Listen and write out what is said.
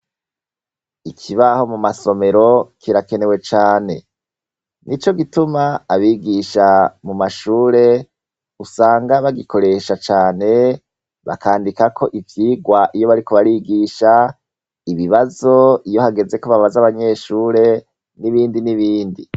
Ikibaho mu masomero kirakenewe cane, nico gituma abigisha mu mashure ,usanga bagikoresha cane bakandikako ivyigwa iyo bariko barigisha ibibazo iyo hageze ko babaza abanyeshure n'ibindi n'ibindi.